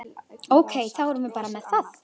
Ok, þá erum við bara með það?